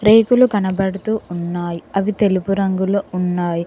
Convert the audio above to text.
రేకులు కనబడుతూ ఉన్నాయి అవి తెలుపు రంగులో ఉన్నాయి.